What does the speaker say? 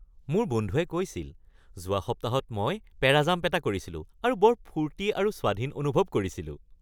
মোৰ বন্ধুৱে কৈছিল, 'যোৱা সপ্তাহত মই পেৰাজাম্প এটা কৰিছিলোঁ আৰু বৰ ফূৰ্তি আৰু স্বাধীন অনুভৱ কৰিছিলো'